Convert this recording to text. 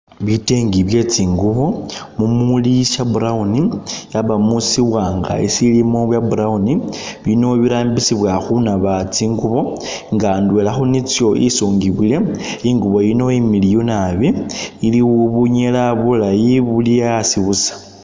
Bitenge byetsingubo mumuli sha'brown yabamo shiwanga sisilimo bwa'brown bino birambisibwa khunaba tsingubo nga indwela khunitso intsungibwile ingubo ino imiliyu naabi iliwo bunyela bulayi buli asi busa